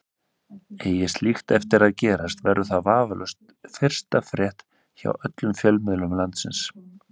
Eigi slíkt eftir að gerast verður það vafalaust fyrsta frétt hjá öllum fjölmiðlum landsins.